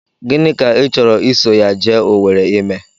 Gịnị ka ị chọrọ iso ya jee Owere ime?